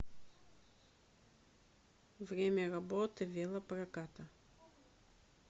время работы велопроката